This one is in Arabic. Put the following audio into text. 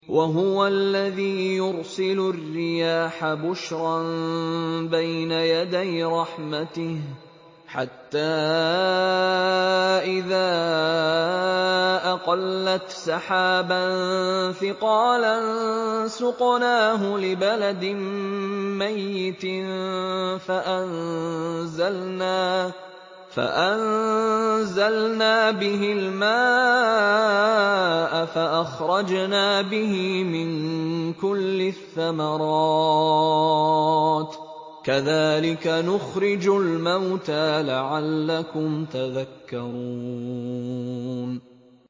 وَهُوَ الَّذِي يُرْسِلُ الرِّيَاحَ بُشْرًا بَيْنَ يَدَيْ رَحْمَتِهِ ۖ حَتَّىٰ إِذَا أَقَلَّتْ سَحَابًا ثِقَالًا سُقْنَاهُ لِبَلَدٍ مَّيِّتٍ فَأَنزَلْنَا بِهِ الْمَاءَ فَأَخْرَجْنَا بِهِ مِن كُلِّ الثَّمَرَاتِ ۚ كَذَٰلِكَ نُخْرِجُ الْمَوْتَىٰ لَعَلَّكُمْ تَذَكَّرُونَ